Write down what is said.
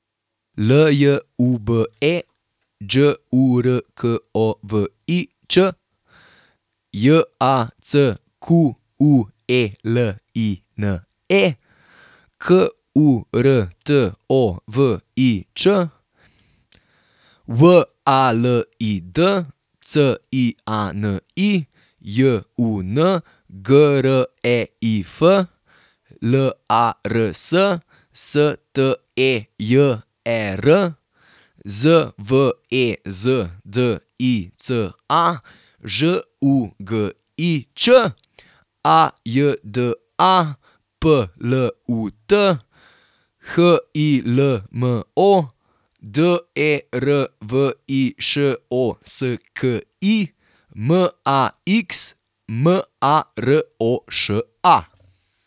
L J U B E, Đ U R K O V I Ć; J A C Q U E L I N E, K U R T O V I Ć; W A L I D, C I A N I; J U N, G R E I F; L A R S, S T E J E R; Z V E Z D I C A, Ž U G I Č; A J D A, P L U T; H I L M O, D E R V I Š O S K I; M A X, M A R O Š A.